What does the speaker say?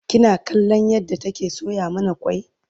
kina kallon yadda take soya mana kwai?